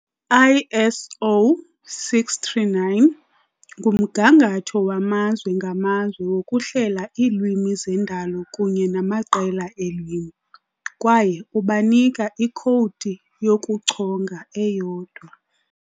ISO 639 ngumgangatho wamazwe ngamazwe wokuhlela iilwimi zendalo kunye namaqela eelwimi, kwaye ubanika ikhowudi yokuchonga eyodwa.